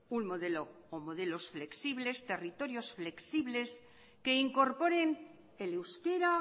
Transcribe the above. unos modelos flexibles territorios flexibles que incorporen el euskera